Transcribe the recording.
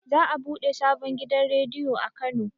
Za a buɗe sabon gidan rediyo a kano